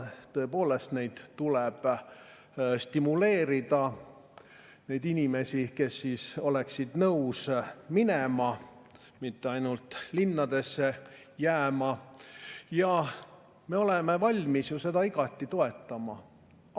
Neid inimesi, kes oleksid nõus sinna minema, kes ei taha mitte ainult linnadesse jääda, tuleb stimuleerida, ja me oleme valmis seda igati toetama.